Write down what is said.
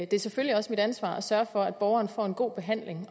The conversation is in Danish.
det er selvfølgelig også mit ansvar at sørge for at borgeren får en god behandling